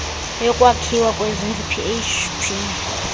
yokwakhiwa kwezindlu php